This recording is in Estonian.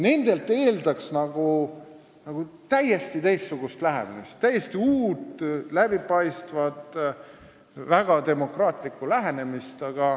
Nendelt eeldaks täiesti teistsugust lähenemist, uut, läbipaistvat, väga demokraatlikku lähenemist.